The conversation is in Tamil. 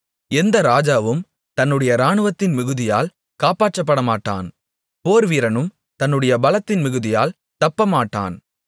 எந்த ராஜாவும் தன்னுடைய ராணுவத்தின் மிகுதியால் காப்பாற்றப்படமாட்டான் போர்வீரனும் தன்னுடைய பலத்தின் மிகுதியால் தப்பமாட்டான்